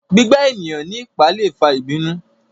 gbígbà eniyan ní ipá lè fà ìbínú